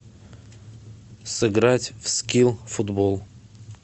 сыграть в скил футбол